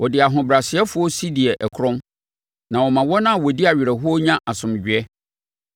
Ɔde ahobrɛasefoɔ si deɛ ɛkorɔn, na ɔma wɔn a wɔdi awerɛhoɔ nya asomdwoeɛ.